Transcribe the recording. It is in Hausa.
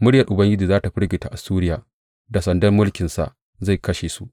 Muryar Ubangiji za tă firgita Assuriya da sandar mulkinsa zai kashe su.